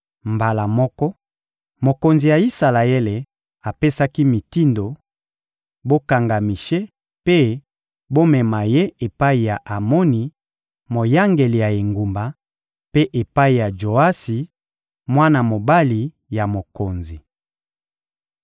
Mbala moko, mokonzi ya Isalaele apesaki mitindo: — Bokanga Mishe mpe bomema ye epai ya Amoni, moyangeli ya engumba, mpe epai ya Joasi, mwana mobali ya mokonzi.